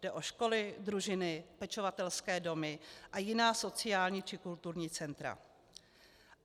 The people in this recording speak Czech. Jde o školy, družiny, pečovatelské domy a jiná sociální či kulturní centra.